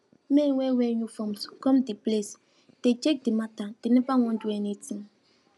men wey wear uniforms come de placedey check de mata dem never wan do anything